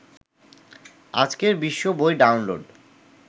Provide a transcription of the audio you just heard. আজকের বিশ্ব বই ডাউনলোড